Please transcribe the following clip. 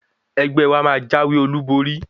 Ẹgbẹ́ wa máa jáwé olúborí.